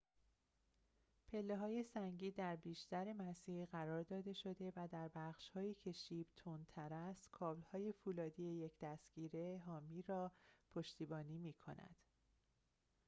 پله‌های سنگی در بیشتر مسیر قرار داده شده و در بخش‌هایی که شیب تندتر است کابل‌های فولادی یک دستگیره حامی را پشتیبانی می‌کنند